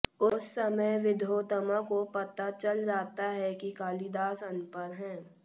उस समय विद्योत्तमा को पता चल जाता है कि कालिदास अनपढ़ हैं